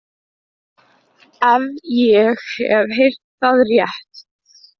Ef ég hef heyrt það rétt.